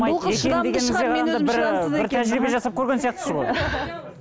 бір тәжірибе жасап көрген сияқтысыз ғой